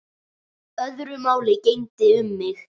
Öðru máli gegndi um mig.